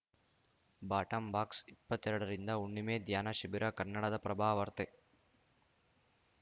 ಬಾಟಂಬಾಕ್ಸ ಇಪ್ಪತ್ತೆರಡರಿಂದ ಹುಣ್ಣಿಮೆ ಧ್ಯಾನ ಶಿಬಿರ ಕನ್ನಡದಪ್ರಭವಾರ್ತೆ